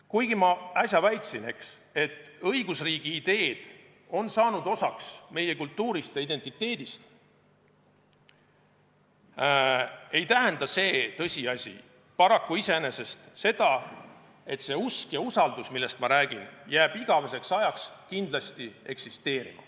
Kuigi ma äsja väitsin, et õigusriigi ideed on saanud osaks meie kultuurist ja identiteedist, ei tähenda see tõsiasi paraku iseenesest seda, et see usk ja usaldus, millest ma räägin, jääb igaveseks ajaks kindlasti eksisteerima.